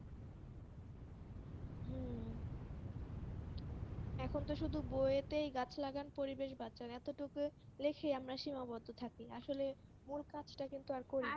এখনতো শুধু বইতেই গাছ লাগান পরিবেশ বাঁচান এতটুকুই লিখেই আমরা সীমাবদ্ধ থাকি আসলে মূল কাজটা কিন্তু আর